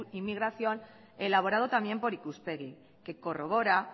inmigración elaborado también por ikuspegi que corrobora